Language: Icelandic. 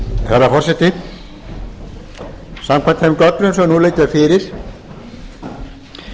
herra forseti samkvæmt þeim gögnum sem nú liggja fyrir mun